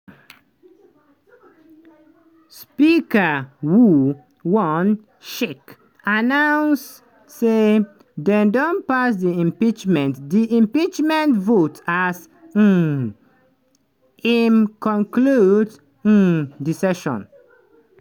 speaker woo won-shik announce say dem don pass di impeachment di impeachment vote as um im conclude um di session.